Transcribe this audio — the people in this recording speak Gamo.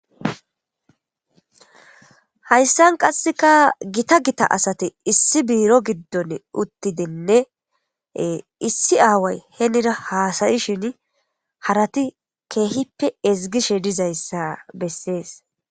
Hayssan qassika gitta gitta asati issi biiro giddon uttidinne issi away hennira hassa'ishin harati kehippe ezgishe dizayssi besses.